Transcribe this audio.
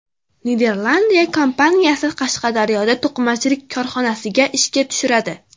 Niderlandiya kompaniyasi Qashqadaryoda to‘qimachilik korxonasini ishga tushiradi.